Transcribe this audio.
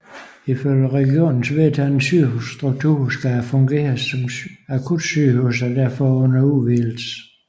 Ifølge regionens vedtagne sygehusstruktur skal det fungere som akutsygehus og er derfor under udvidelse